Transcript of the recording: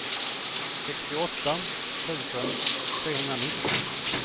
sextioåtta tusen trehundranitton